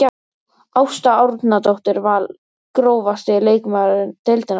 Ásta Árnadóttir Val Grófasti leikmaður deildarinnar?